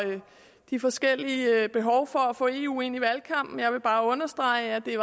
de forskellige behov for at få eu ind i valgkampen jeg vil bare understrege at det